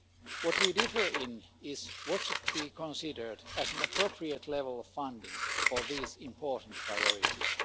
Where we differ is on what should be considered an appropriate level of funding for these important priorities.